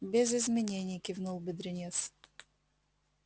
без изменений кивнул бедренец